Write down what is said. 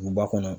Duguba kɔnɔ